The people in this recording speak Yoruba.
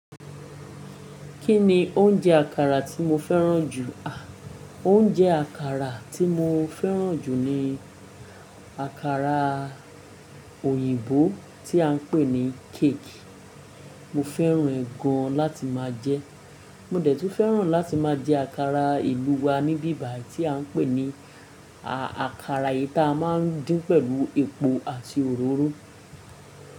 Kí ni oúnjẹ àkàrà tí mo fẹ́ràn jù? À, oúnjẹ àkàrà tí mo fẹ́ràn jù ni àkàrà òyìnbó tí à ń pè ní cake. Mo fẹ́ràn ẹ́ gan láti máa jẹ. Mo dẹ̀ tún fẹ́ràn láti máa jẹ àkàrà ìlú wa ní bíbà tí à ń pè ní, à, àkàrà yìí ta a máa ń dín pẹ̀lú epo àti òróró.